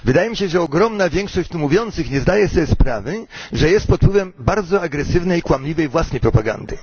Wydaje mi się, że ogromna większość tu mówiących nie zdaje sobie sprawy, że jest pod wpływem bardzo agresywnej i kłamliwej własnej propagandy.